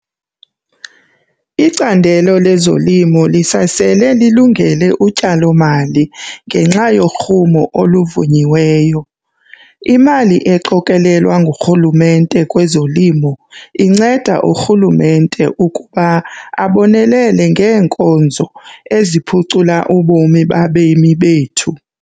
Icandelo lezolimo lisasele lilungele utyalomali ngenxa yorhumo oluvunyiweyo. Imali eqokelelwa nguRhulumente kwezolimo inceda uRhulumente ukuba abonelele ngeenkonzo eziphucula ubomi babemi bethu.